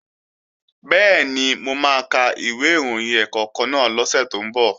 Bẹ́ẹ̀ni, mo máa ka ìwé ìròyìn ẹ̀ẹ̀kọ̀kan náà lọ́sẹ̀ tó ń bọ̀